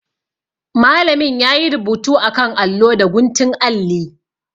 Malamin yayi rubutu akan allo da guntun alli.